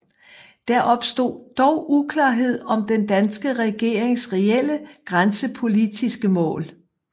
Der opstod dog uklarhed om den danske regerings reelle grænsepolitiske mål